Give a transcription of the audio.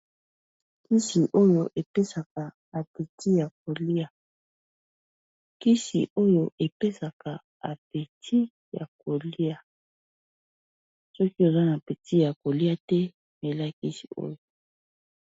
Kisi oyo epesaka apeti ya kolia kisi oyo epesaka apeti ya kolia soki oza na apeti ya kolia te mela kisi oyo.